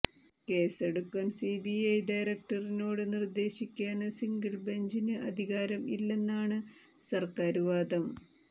case എടുക്കാൻ CBI ഡയറക്ടറിനോട് നിര്ദ്ദേശിക്കാന് സിംഗിൾ ബഞ്ചിന് അധികാരം ഇല്ലെന്നാണ് സര്ക്കാര് വാദം